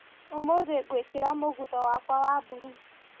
ũmũthĩ ngũĩkĩra mũgutho wakwa wa mburu.